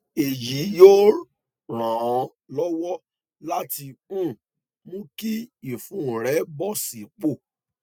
èyí yóò ràn án lọwọ láti um mú kí ìfun rẹ bọ sípò